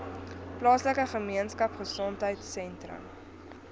plaaslike gemeenskapgesondheid sentrum